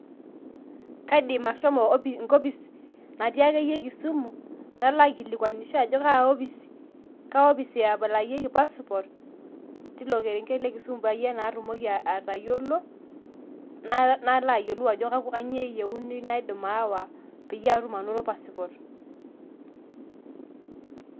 Kaidim ashomo enkopis natii akeyie kisumu, nalo aikilikwanisho ajo ka opis eaplayieki passport tilo kerenket le kisumu, patumoki atayiolo, nalo ayiolou ajo kanyioo eyieuni naidim aawa, peyie atum anoto pasipot.